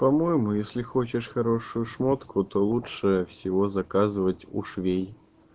по-моему если хочешь хорошую шмотку то лучше всего заказывать у швей